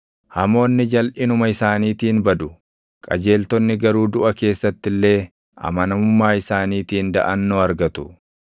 Hamoonni jalʼinuma isaaniitiin badu; qajeeltonni garuu duʼa keessatti illee // amanamummaa isaaniitiin daʼannoo argatu.